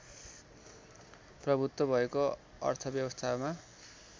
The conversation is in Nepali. प्रभुत्व भएको अर्थव्यवस्थामा